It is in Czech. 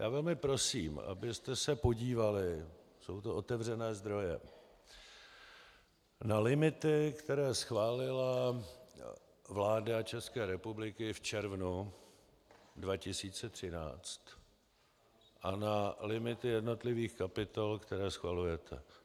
Já velmi prosím, abyste se podívali, jsou to otevřené zdroje, na limity, které schválila vláda České republiky v červnu 2013, a na limity jednotlivých kapitol, které schvalujete.